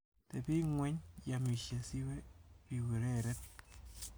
Tebi ing'weny iamishe siwe biureren.